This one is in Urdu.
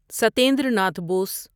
ستیندر ناتھ بوس